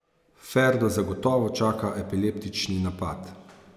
Ferdo zagotovo čaka epileptični napad.